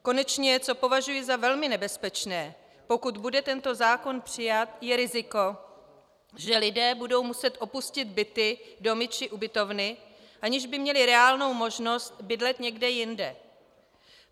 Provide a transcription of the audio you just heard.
Konečně co považuji za velmi nebezpečné, pokud bude tento zákon přijat, je riziko, že lidé budou muset opustit byty, domy či ubytovny, aniž by měli reálnou možnost bydlet někde jinde.